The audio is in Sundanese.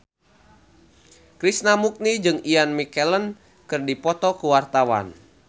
Krishna Mukti jeung Ian McKellen keur dipoto ku wartawan